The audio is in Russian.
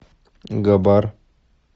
габар